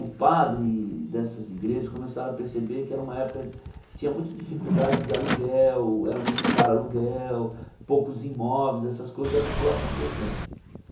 O padre dessas igrejas começaram a perceber que era uma época que tinha muita dificuldade de aluguel, era muito caro aluguel, poucos imóveis, essas coisas, e a população crescendo.